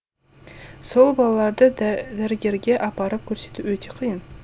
сол балаларды дәрігерге апарып көрсету өте қиын